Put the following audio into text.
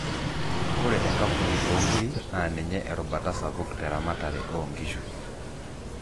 ore enkampuni oo inkirik naa ninye erubata sapuk te ramatare oo inkishu.